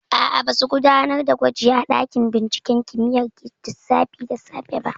Aa, ba su gudanar da gwaji a ɗakin binciken kimiyyar lissafi da safe ba